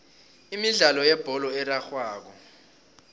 imidlalo yebholo erarhwako